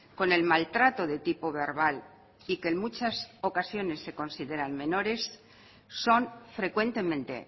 con el maltrato de tipo verbal y que en muchas ocasiones se consideran menores son frecuentemente